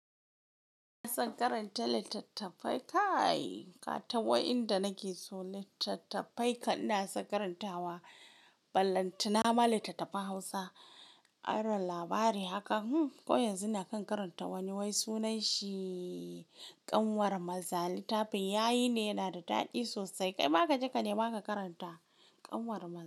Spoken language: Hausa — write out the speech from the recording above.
Ina son karanta littattafai kai, katawa inda nake so. Littattafai kan ina son karantawa. Ballantana ma littattafan Hausa, aron labari haka. Hm, ko yanzu nakan karanta wani wai sunanshi "Ƙanwar Mazali". Littafin yayi ne, yana da daɗi sosai. Kaima ka je ka nema ka karanta Ƙanwar Mazali.